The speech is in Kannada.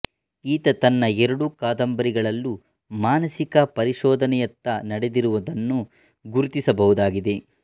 ಈತ ತನ್ನ ಎರಡು ಕಾದಂಬರಿಗಳಲ್ಲೂ ಮಾನಸಿಕ ಪರಿಶೋಧನೆಯತ್ತ ನಡೆದಿರುವುದನ್ನು ಗುರುತಿಸಬಹುದಾಗಿದೆ